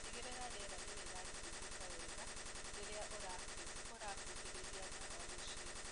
Tigĩrĩra riera nĩrĩrathiũruruka wega rĩria ũrahuhĩrĩria ndawa nyumbainĩ.